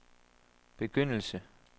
begyndelse